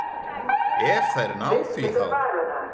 Ef þær ná því þá.